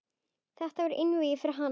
Þetta verður einvígi fyrir hana.